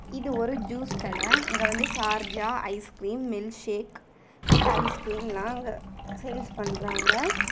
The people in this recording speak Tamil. இது ஒரு ஜூஸ் கட இங்க வந்து Sharjah ice cream milk shake with ice cream sales பண்றாங்க.